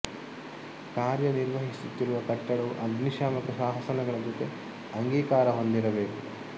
ಕಾರ್ಯನಿರ್ವಹಿಸುತ್ತಿರುವ ಕಟ್ಟಡವು ಅಗ್ನಿಶಾಮಕ ಶಾಸನ ಗಳ ಜೊತೆ ಅಂಗೀಕಾರ ಹೊಂದಿರಬೇಕು